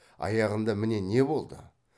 аяғында міне не болды